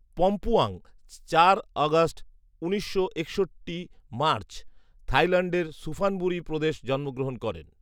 পম্পুয়াং চার আগস্ট উনিশশো একষট্টি মার্চ, থাইল্যান্ডের সুফানবুরি প্রদেশ জন্মগ্রহণ করেন